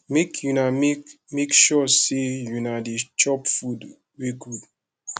make una make make sure sey una dey chop food wey good